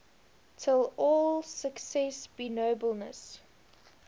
till all success be nobleness